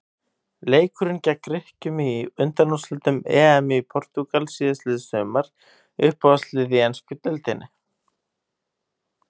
Leikurinn gegn Grikkjum í undanúrslitum EM í Portúgal síðastliðið sumar Uppáhaldslið í ensku deildinni?